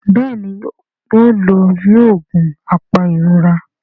Béèni o ló yíò oògùn apairora.